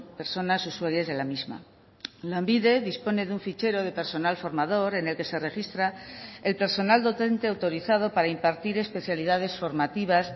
personas usuarias de la misma lanbide dispone de un fichero de personal formador en el que se registra el personal docente autorizado para impartir especialidades formativas